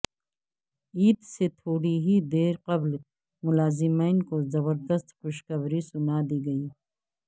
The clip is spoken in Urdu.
عید سے تھوڑی ہی دیر قبل ملازمین کو زبردست خوشخبری سنادی گئی